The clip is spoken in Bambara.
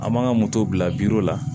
An man ka moto bila la